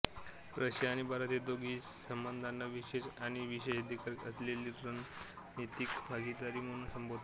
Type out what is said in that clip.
Russia आणि भारत दोघेही या संबंधांना विशेष आणि विशेषाधिकार असलेली रणनीतिक भागीदारी म्हणून संबोधतात